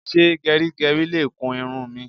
Ṣé gẹrígẹrí ẹ le kun irun mi?